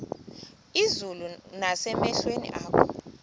izulu nasemehlweni akho